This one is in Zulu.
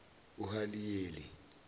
uhaliyeli